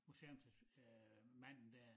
Museums øh manden der